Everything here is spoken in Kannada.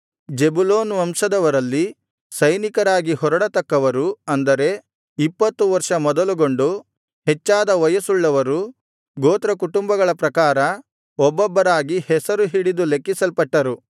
ಜೆಬುಲೂನ್ ವಂಶದವರಲ್ಲಿ ಸೈನಿಕರಾಗಿ ಹೊರಡತಕ್ಕವರು ಅಂದರೆ ಇಪ್ಪತ್ತು ವರ್ಷ ಮೊದಲುಗೊಂಡು ಹೆಚ್ಚಾದ ವಯಸ್ಸುಳ್ಳವರು ಗೋತ್ರಕುಟುಂಬಗಳ ಪ್ರಕಾರ ಒಬ್ಬೊಬ್ಬರಾಗಿ ಹೆಸರು ಹಿಡಿದು ಲೆಕ್ಕಿಸಲ್ಪಟ್ಟರು